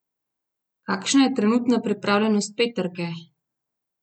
Kakšna je trenutna pripravljenost peterke?